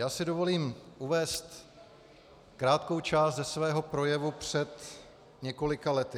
Já si dovolím uvést krátkou část ze svého projevu před několika lety.